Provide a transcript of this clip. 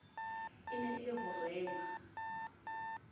e na le ho rema